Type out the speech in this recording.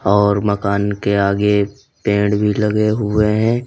और मकान के आगे पेड़ भी लगे हुए है।